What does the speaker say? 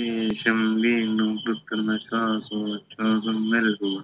ശേഷം വീണ്ടും കൃത്രിമ ശ്വാസോച്ഛാസം നൽകുക